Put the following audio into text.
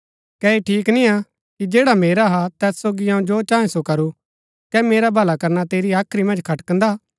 कै ऐह ठीक निय्आ कि जैडा मेरा हा तैत सोगी अऊँ जो चाहे सो करूं कै मेरा भला करना तेरी हाख्री मन्ज खटकदा